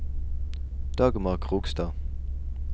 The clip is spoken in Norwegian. Dagmar Krogstad